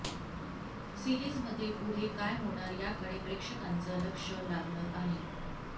सीरिजमध्ये पुढे काय होणार याकडे प्रेक्षकांचं लक्ष लागलं आहे